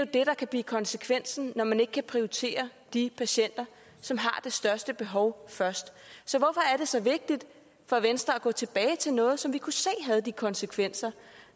det der kan blive konsekvensen når man ikke kan prioritere de patienter som har det største behov først så hvorfor er det så vigtigt for venstre at gå tilbage til noget som vi kunne se havde de konsekvenser